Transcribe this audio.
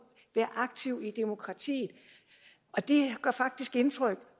være aktiv i demokratiet og det gør faktisk indtryk